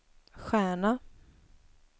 stjärna